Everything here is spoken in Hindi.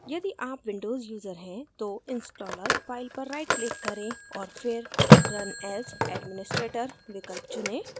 यदि आप windows यूज़र हैं तो installer file पर right click करें और फिर run as administrator विकल्प चुनें